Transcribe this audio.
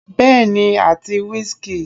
Bẹ́ẹ̀ni àti whisky.